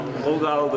O qaldı.